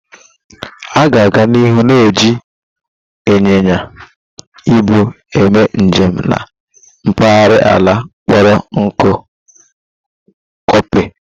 A ga-aga n'ihu na-eji ịnyịnya -ibu eme njem na mpaghara ala kpọrọ nkụ Copy